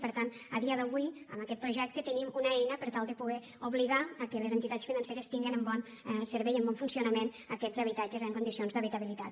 i per tant a dia d’avui amb aquest projecte tenim una eina per tal de poder obligar les entitats financeres a tindre en bon servei en bon funcionament aquests habitatges en condicions d’habitabilitat